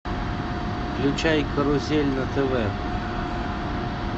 включай карусель на тв